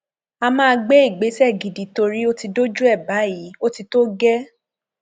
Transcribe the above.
a máa gbé ìgbésẹ gidi torí ó ti dójú ẹ báyìí ó ti tó gẹẹ